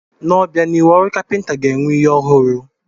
N'obianihu, ọrụ kapịnta ga-enwe ihe ọhụrụ.